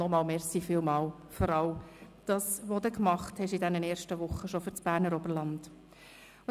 Noch einmal herzlichen Dank für alles, was Sie in den ersten Wochen schon für das Berner Oberland geleistet haben!